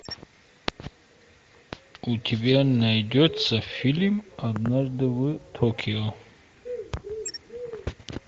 у тебя найдется фильм однажды в токио